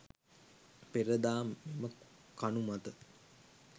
පෙර දා මෙම කණු මත